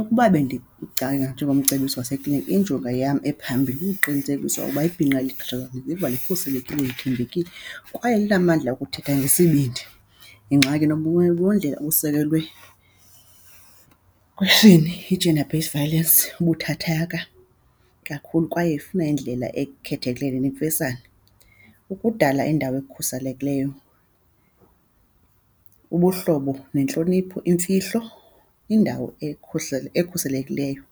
Ukuba njengomcebisi wasekliniki injongo yam ephambili kukuqinisekisa ukuba ibhinqa liziva likhuselekile, lithembekile kwaye linamandla okuthetha ngesibindi. Ingxaki obusekelwe kwisini, yi-gender based violence, ibuthathaka kakhulu kwaye ifuna indlela ekhethekileyo nemfesane. Ukudala indawo ekhuselekileyo, ubuhlobo nentlonipho, imfihlo indawo ekhuselekileyo,